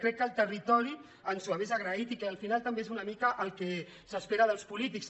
crec que el territori ens ho hauria agraït i que al final també és una mica el que s’espera dels polítics